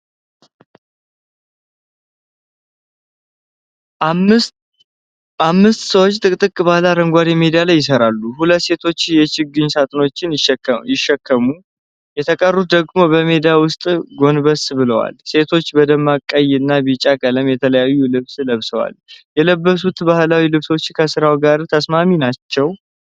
አምስት ሰዎች ጥቅጥቅ ባለ አረንጓዴ ሜዳ ላይ ይሰራሉ።፣ ሁለት ሴቶች የችግኝ ሳጥኖችን ሲሸከሙ፣ የተቀሩት ደግሞ በሜዳው ውስጥ ጎንበስ ብለዋል። ሴቶቹ በደማቅ ቀይ እና ቢጫ ቀለም የተለያየ ልብስ ለብሰዋል፣ የለበሱት ባህላዊ ልብሶች ከሥራው ጋር ተስማሚ ናቸው?